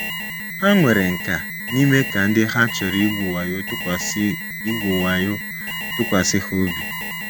Ha nwere nkà n’ime ka ndị ha chọrọ igwu wayo tụkwasị igwu wayo tụkwasị ha obi.